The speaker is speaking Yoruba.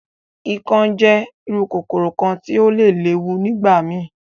Ikán jẹ iru kokoro kan ti o le lewu nigbamii.